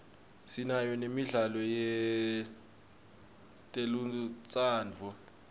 sinayo nemidlalo yetelutsandvo